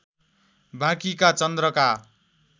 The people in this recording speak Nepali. बाँकीका चन्द्रका